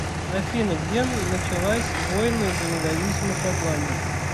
афина где началась войны за независимость шотландии